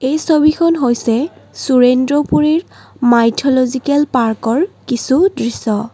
এই ছবিখন হৈছে সুৰেন্দ্ৰপুৰীৰ মাইঠ'লজিকেল পাৰ্ক ৰ কিছু দৃশ্য।